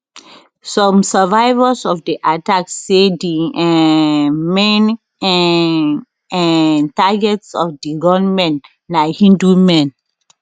some survivors of di attack say di um main um um targets of di gunmen na hindu men